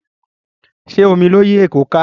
Ṣé omi ló yí èkó ka?